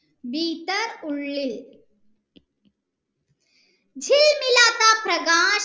ഉള്ളിൽ